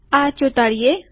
આ ચોંટાડીએ